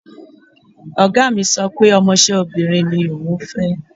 Ọ̀gá mi sọ pé ọmọṣẹ́ obìnrin ni òun fẹ́.